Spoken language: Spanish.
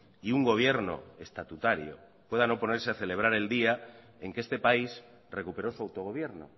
y un gobierno estatutario puedan oponerse a celebrar el día en que este país recuperó su autogobierno